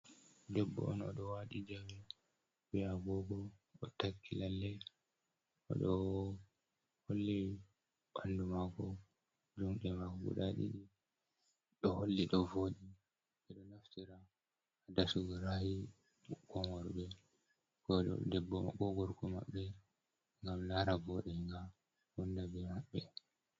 Debbo on o ɗo waɗi jame bee agoogo, o takki lalle o ɗo holli ɓanndu maako, juuuɗe maako gudaa ɗiɗi ɗo holli ɗo vooɗi, ɓe ɗo naftira haa dasugo ra'ayi ɓikkon worɓe koo gorko maɓɓe ngam laara vooɗa ngam wonnda bee maɓɓe.